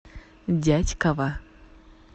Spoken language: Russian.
дятьково